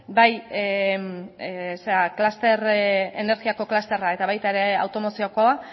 bai energiako clusterra eta baita ere automoziokoa